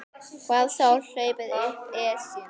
Hvað þá hlaupið upp Esjuna.